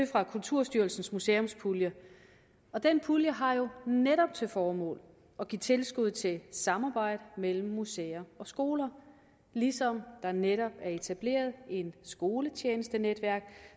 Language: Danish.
fra kulturstyrelsens museumspulje og den pulje har netop til formål at give tilskud til samarbejde mellem museer og skoler ligesom der netop er etableret et skoletjenestenetværk